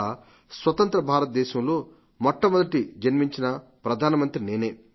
అలా స్వతంత్ర భారతదేశంలో మొట్టమొదట జన్మించిన ప్రధానమంత్రిని నేను